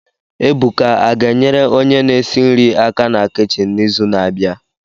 Ebuka a ga-enyere onye na-esi nri aka na kichin n'izu na-abịa